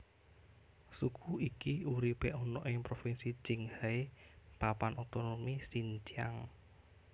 Suku iki uripe ana ing propinsi Qinghai Papan Otonomi Xinjiang